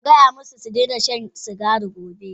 Ka gaya musu su daina shan sigari gobe!